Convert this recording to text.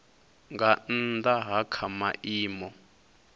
nga nnda ha kha maimo